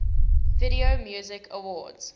video music awards